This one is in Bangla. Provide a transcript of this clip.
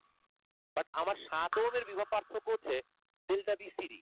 but আমার সাত ওহমের বিভব পার্থক্য হচ্ছে delta bcd